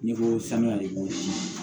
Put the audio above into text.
N'i ko sanuya de b'o sin na